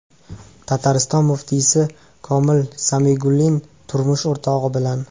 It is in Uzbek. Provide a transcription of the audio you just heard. Tatariston muftiysi Komil Samigullin turmush o‘rtog‘i bilan.